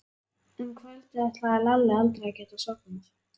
Um kvöldið ætlaði Lalli aldrei að geta sofnað.